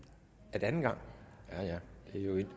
er det anden gang ja ja